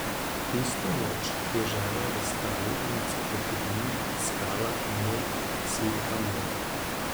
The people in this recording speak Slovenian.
Tisto noč je žena v stari enciklopediji iskala ime Sikamora.